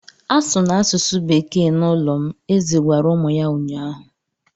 A sụna asụsụ Bekee n'ụlọ m! Eze gwara ụmụ ya ụnyahụ.